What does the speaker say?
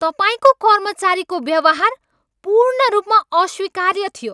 तपाईँको कर्मचारीको व्यवहार पूर्ण रूपमा अस्वीकार्य थियो।